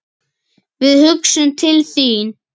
Við hugsum til þín.